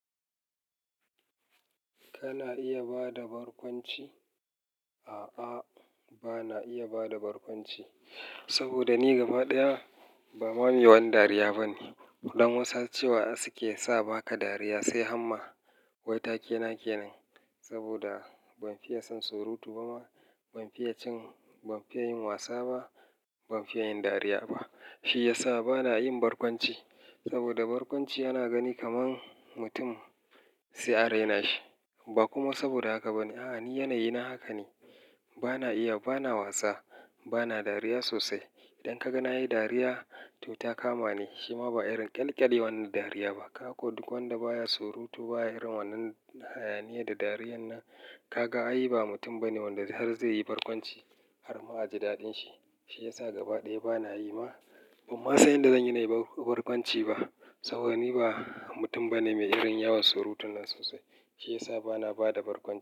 Kana iya bada barkwanci? A'a, bana iya bada barkwanci. Saboda ni gaba ɗaya ba ma mewani dariya bane. Kuɗan wasa cewa suke meyasa baka dariya, sai hamma. Wai takena kenan? Saboda ban fiye son surutu ba ma, ban fiye yin wasa ba, ban fiye yin dariya ba. Shi yasa bana yin barkwanci. Saboda barkwanci yana gani kaman mutum sai a raina shi. Ba kuma saboda haka bane. A'a, ni yanayi na haka ne. Bana iya, bana wasa, bana dariya sosai. Idan ka ga na yi dariya to ta kama ni, shima ba irin ƙyalƙyale wannan dariya ba. Ka ko duk wanda baya surutu baya irin wannan hayaniya da dariyar nan, ka ga ai ba mutum bane wanda har zai yi barkwanci har ma a ji daɗin shi. Shi yasa gaba ɗaya bana yi ma. Ban ma san yadda zan yi na yi barkwanci ba. Saboda ni ba mutum bane mai irin yawan surutun nan sosai. Shi yasa bana bada barkwanci.